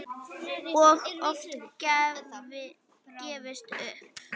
Og oft gefist upp.